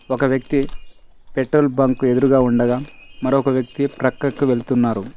ఒక వ్యక్తి petrol bunk ఎదురుగా ఉండగా మరొక వ్యక్తి పక్కకి వెళ్తున్నారు.